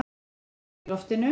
Þyt í loftinu?